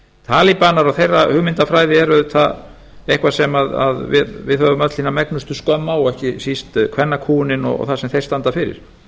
talibanar og þeirra hugmyndafræði eru auðvitað eitthvað sem við höfum öll hina megnustu skömm á ekki síst kvennakúguninni og það sem þeir standa fyrir